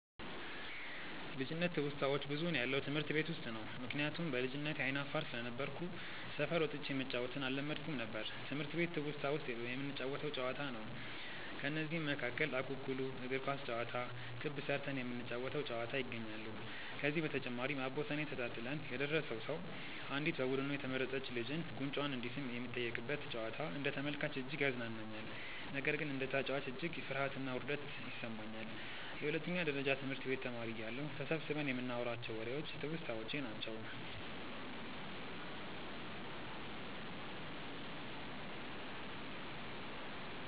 ልጅነት ትውስታዋች ብዙውን ያለው ትምህርት ቤት ውስጥ ነው። ምክንያቱም በልጅነቴ አይነ አፋር ስለነበርኩ ሰፈር ወጥቼ መጫዎትን አለመድኩም ነበር። ትምህርት ቤት ትውስታ ውስጥ የምንጫወተው ጨዋታ ነው። ከነዚህም መካከል እኩኩሉ፣ እግር ኳስ ጨዋታ፣ ክብ ስርተን የምንጫወ ተው ጨዋታ ይገኛሉ። ከዚህ በተጨማሪም አቦሰኔ ተጣጥለን የደረሰው ሰው አንዲት በቡዱኑ የተመረጥች ልጅን ጉንጯን እንዲስም የሚጠየቅበት ጨዋታ አንደ ተመልካች እጅግ ያዝናናኛል። ነገር ግን እንደ ተጨዋች እጅግ ፍርሀትና ውርደት ይሰማኛል። የሁለተኛ ደረጀ ትምህርት ቤት ተማሪ እያለሁ ተሰብስበን ይንናዋራቸው ዎሬዎች ትውስታዎቼ ናቸው።